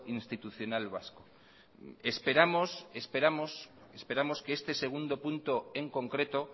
institucional vasco esperamos que este segundo punto en concreto